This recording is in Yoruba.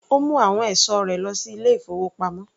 Ó mu àwọn ẹ̀sọ́ rẹ lọ sí ilé-ìfowópamọ́.